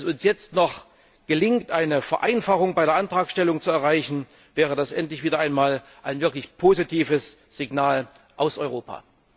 Wenn es uns jetzt noch gelingt, eine Vereinfachung bei der Antragstellung zu erreichen, wäre das endlich wieder einmal ein wirklich positives Signal aus Europa.